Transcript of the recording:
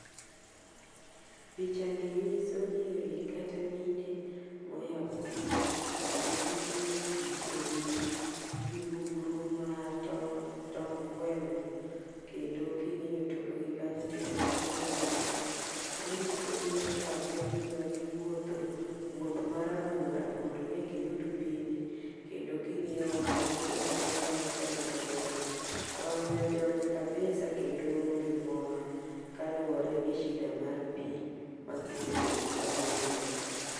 Picha ni nyiso nyiri kata mine moya kulo kendo giting'o pii ewigi gi mbugru ma tong' tong gweno. Kendo king'iyo tok gik kanyo tineno ka piny otuo. Manyiso ni chak kagima giwuotho wuoth marabora mondo ne giyud pii ni kendo king'iyo wang' gi ti neno ka motelo mbele ni wang'e ojony kabisa kendo oonge mor kaluwore gi shida mar pii ma gisebedo ka giyudo.